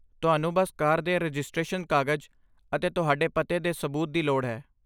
ਤੁਹਾਨੂੰ ਬੱਸ ਕਾਰ ਦੇ ਰਜਿਸਟ੍ਰੇਸ਼ਨ ਕਾਗਜ਼ ਅਤੇ ਤੁਹਾਡੇ ਪਤੇ ਦੇ ਸਬੂਤ ਦੀ ਲੋੜ ਹੈ।